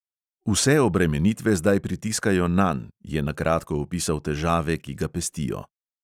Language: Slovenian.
Vse obremenitve zdaj pritiskajo nanj, je na kratko opisal težave, ki ga pestijo.